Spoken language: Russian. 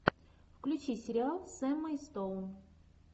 включи сериал с эммой стоун